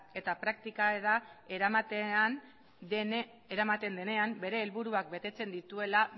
eta praktikara eramaten denean bere helburuak betetzen dituela